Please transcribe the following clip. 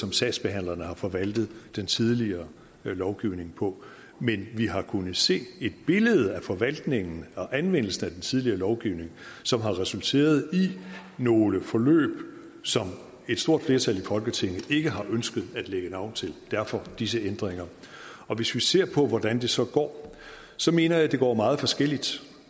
som sagsbehandlerne har forvaltet den tidligere lovgivning på men vi har kunnet se et billede af forvaltningen og anvendelsen af den tidligere lovgivning som har resulteret i nogle forløb som et stort flertal i folketinget ikke har ønsket at lægge navn til derfor disse ændringer hvis vi ser på hvordan det så går så mener jeg det går meget forskelligt